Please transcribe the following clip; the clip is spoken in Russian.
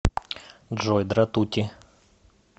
джой дратути